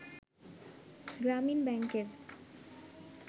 গ্রামীণ ব্যাংকের